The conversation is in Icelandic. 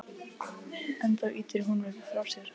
En þá ýtir hún mér frá sér.